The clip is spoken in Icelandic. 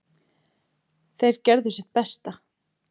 Þeir gerðu sitt besta